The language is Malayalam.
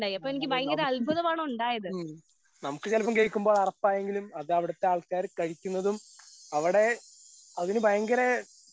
നമുക്ക് ഉം നമുക്ക് ചെലപ്പത് കേക്കുമ്പൊ അറപ്പായെങ്കിലും അതവിടുത്തെ ആൾക്കാര് കഴിക്കുന്നതും അവിടെ അതിന് ഭയങ്കര.